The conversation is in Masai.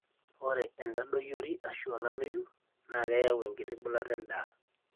ore entadoyiori arashu olameyu naa keyau enkiti bulata endaa